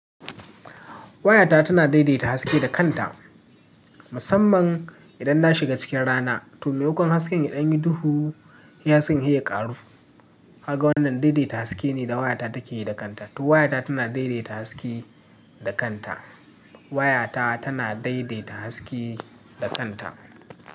Wayata tana daidaita haske da kanta musamman idan na shiga cikin rana. To memakon hasken ya ɗan yi duhu hei hasken hei ya ƙaru. Ka ga wannan daidaita haske ne da waya ta take yi da kanta. To wayata tana daidaita haske da kanta. Wayata tana daidaita haske da kanta.